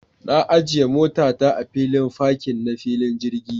Na ajiya mota ta a filin fakin na filin jirgi.